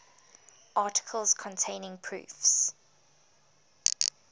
articles containing proofs